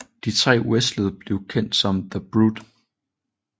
De tre wrestlede blev kendt som The Brood